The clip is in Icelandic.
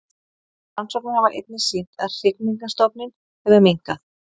Rannsóknir hafa einnig sýnt að hrygningarstofninn hefur minnkað.